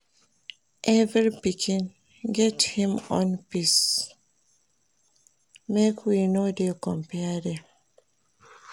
Every pikin get im own pace, make we no dey compare dem.